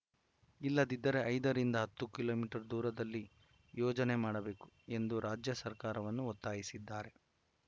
ಇಲ್ಲದಿದ್ದರೆ ಐದರಿಂದ ಹತ್ತು ಕಿಲೋ ಮೀಟರ್ ದೂರದಲ್ಲಿ ಯೋಜನೆ ಮಾಡಬೇಕು ಎಂದು ರಾಜ್ಯ ಸರ್ಕಾರವನ್ನು ಒತ್ತಾಯಿಸಿದ್ದಾರೆ